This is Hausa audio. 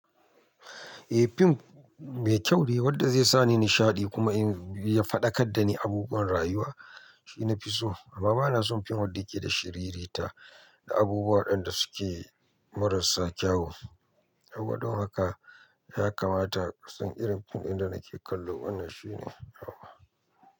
Eh fim mai kyau ne wanda zai sa ni nishaɗi kuma ya faɗaƙar da ni abubuwan rayuwa shine na fi so amma bana son fim wanda yake da shiriri ta da abubuwa ɗan da suke marasa kyau. Saboda haka ya kamata kusan irin fim ɗin da nake kallo wannan shine nawa.